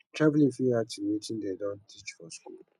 travelling fit add to wetin dem don teach for school